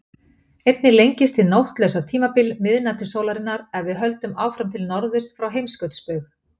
Einnig lengist hið nóttlausa tímabil miðnætursólarinnar ef við höldum áfram til norðurs frá heimskautsbaug.